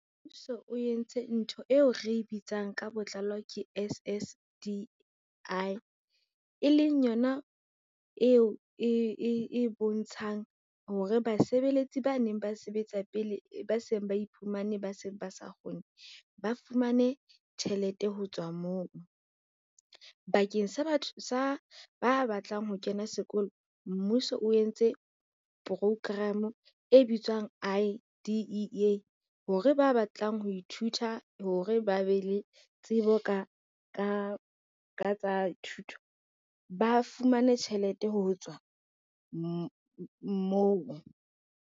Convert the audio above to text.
Mmuso o entse ntho eo re bitsang ka botlalo ke S_S_D_I, e leng yona eo e bontshang hore basebeletsi ba neng ba sebetsa pele ba seng ba iphumane ba se ba sa kgone, ba fumane tjhelete ho tswa moo. Bakeng sa ba batlang ho kena sekolo, mmuso o entse program e bitswang I_D_E_A hore ba batlang ho ithuta hore ba be le tsebo ka tsa thuto ba fumane tjhelete ho tswa moo.